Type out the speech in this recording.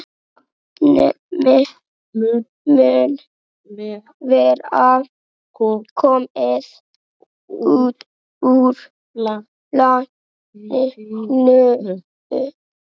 nafnið mun vera komið úr latínu